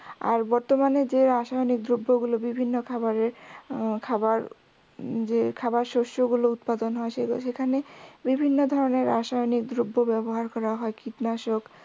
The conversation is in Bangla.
আর বর্তমানে যে রাসায়নিক দ্রব্য গুলো বিভিন্ন খাবারের হম খাবার যে খাবার শস্য গুলো উৎপাদন হয় সেখানে বিভিন্ন ধরনের রাসায়নিক দ্রব্য ব্যাবহার করা হয় কীটনাশক